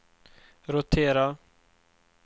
rotera